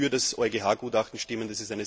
Ich werde für das EuGH Gutachten stimmen.